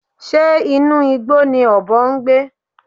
Ṣé inú igbó ni ọ̀bọ ń gbé?